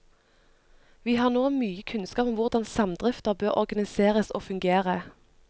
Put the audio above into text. Vi har nå mye kunnskap om hvordan samdrifter bør organiseres og fungere.